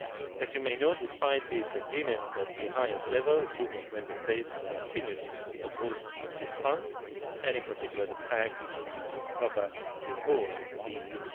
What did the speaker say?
As you may know, despite this agreement at the highest level, a group of Member States continues to oppose this Fund, and in particular the fact that it would cover the whole EU.